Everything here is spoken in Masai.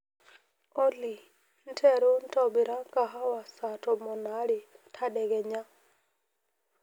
olly nteru ntobira kahawa saa tomon aare tadekenya